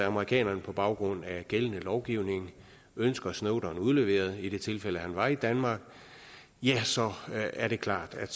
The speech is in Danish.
amerikanerne på baggrund af gældende lovgivning ønsker snowden udleveret i det tilfælde han var i danmark så er det klart at